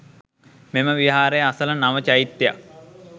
මෙම විහාරය අසළ නව චෛත්‍යයක්